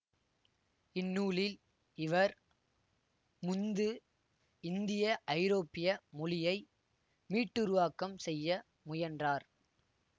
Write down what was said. இந்நூலில் இவர் முந்து இந்தியஐரோப்பிய மொழியை மீட்டுருவாக்கம் செய்ய முயன்றார்